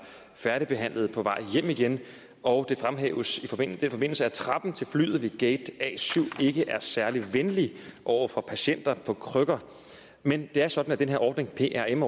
færdigbehandlede og på vej hjem igen og det fremhæves i den forbindelse at trappen til flyet ved gate a syv ikke er særlig venlig over for patienter på krykker men det er sådan at den her ordning prm